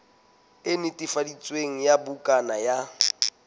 e netefaditsweng ya bukana ya